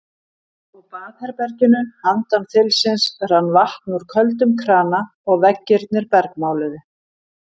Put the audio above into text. Á baðherberginu handan þilsins rann vatn úr köldum krana og veggirnir bergmáluðu.